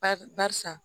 Ba barisa